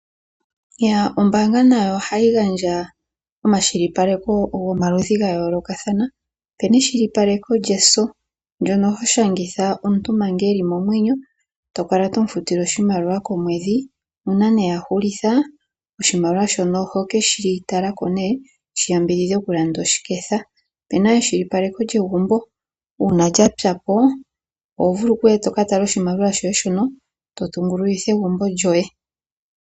Ombaanga nayo ohayi gandja omakwashilipaleko gomaludhi gayoolokathana. Opena ekwashilipaleko lyeso, ndyono hoshangitha omuntu manga eli momwenyo tokala tomufutile oshimaliwa komwedhi nuuna nduno yahulitha oshimaliwa shono ohokeshi talako shiyambidhidhe okulanda oshiketha. Opena ekwashilipaleko lyegumbo uuna lyapyapo, ohovulu okuya tokatala oshimaliwa shoye shono totungululutha egumbo lyoye.